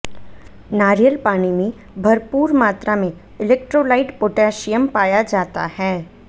नारियल पानी में भरपूर मात्रा में इलेक्ट्रोलाइट पोटेशियम पाया जाता है